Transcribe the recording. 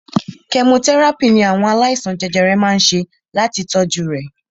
Kẹmotẹ́ràpì ní àwọn aláìsàn jẹjẹrẹ má ń ṣe láti kojú rẹ̀.